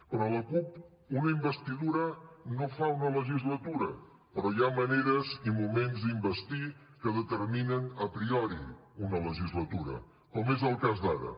per a la cup una investidura no fa una legislatura però hi ha maneres i moments d’investir que determinen a priori una legislatura com és el cas d’ara